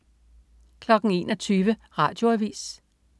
21.00 Radioavis